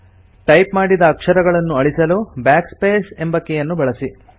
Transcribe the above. type ಮಾಡಿದ ಅಕ್ಷರಗಳನ್ನು ಅಳಿಸಲು Backspace ಎಂಬ ಕೀಯನ್ನು ಬಳಸಿ